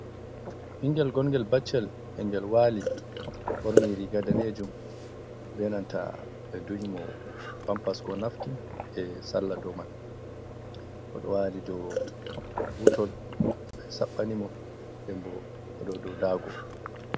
Ɓingel gongel bacchel e'gel wali borni riga danejum be nanta ɓeduyimo pampas ko nafkin e salla dow man. Moɗo wali dow butol ɓe saɓɓanimo denbo o ɗo dow dago.